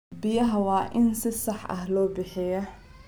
Biyaha waa in si sax ah loo bixiyaa.